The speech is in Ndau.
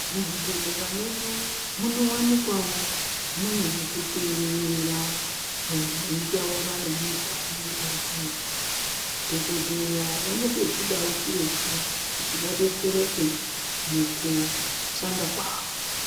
Muzvibhedhlera medu munowanikwawo mune zvekuterera, muntu eyitaura nemuntu anenge arikuretu . Dhokidheya vanotochidawo chirocho kuti vadetsereke mukushanda kavo.